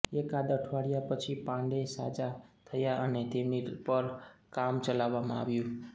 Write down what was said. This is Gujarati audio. એકાદ અઠવાડીયા પછી પાંડે સાજા થયા અને તેમની પર કામ ચલાવવામાં આવ્યું